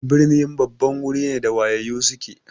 Birni babban wuri ne da wayayyu suke.